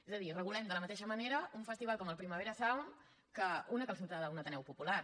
és a dir regulem de la mateixa manera un festival com el primavera sound que una calçotada en un ateneu popular